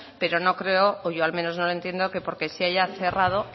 pero no creo o yo al menos no lo entiendo que porque se haya cerrado